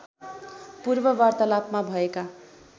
पूर्व वार्तालापमा भएका